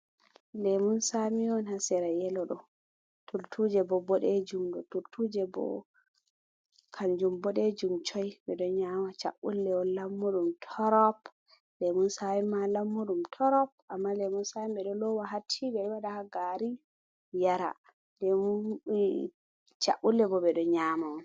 Lemun samiwon hasira yelodo turtuje bo bodejumdo turtuje bo kanjum bodejum coi bedo nyama chabule won lammuɗum torop lemun sami ma lammuɗum torop amma lemun sami bedo lowa hatti be wada ha gari yara chabule bo bedo nyamaon